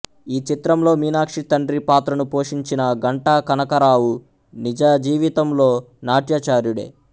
ఈ చిత్రంలో మీనాక్షి తండ్రి పాత్రను పోషించిన ఘంటా కనకారావు నిజజీవితంలో నాట్యాచార్యుడే